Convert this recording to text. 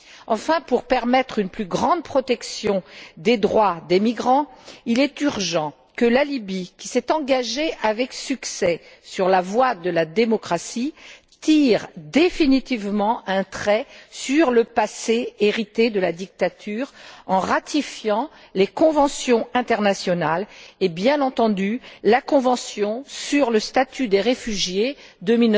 Enfin, pour permettre une plus grande protection des droits des migrants, il est urgent que la Libye, qui s'est engagée avec succès sur la voie de la démocratie, tire définitivement un trait sur le passé hérité de la dictature, en ratifiant les conventions internationales et, bien entendu, la convention sur le statut des réfugiés de